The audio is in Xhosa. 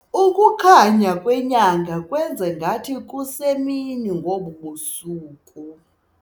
Ukukhanya kwenyanga kwenze ngathi kusemini ngobu busuku.